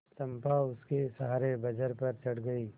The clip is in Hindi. चंपा उसके सहारे बजरे पर चढ़ गई